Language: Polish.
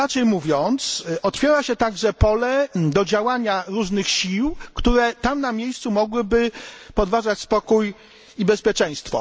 Inaczej mówiąc, otwiera się także pole do działania różnych sił, które tam na miejscu mogłyby podważyć spokój i bezpieczeństwo.